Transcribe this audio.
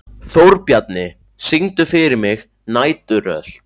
Þórbjarni, syngdu fyrir mig „Næturrölt“.